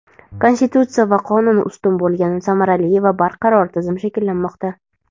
Konstitutsiya va qonun ustun bo‘lgan samarali va barqaror tizim shakllanmoqda.